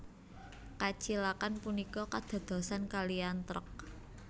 Kacilakan punika kadadosan kaliyan trek